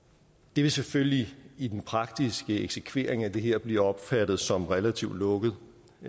det vil selvfølgelig i den praktiske eksekvering af det her blive opfattet som relativt lukket